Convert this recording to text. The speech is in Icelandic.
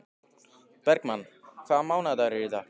Bergmann, hvaða mánaðardagur er í dag?